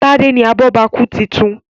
Tade ní abobaku títún.